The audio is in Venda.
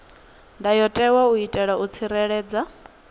ndayotewa u itela u tsireledza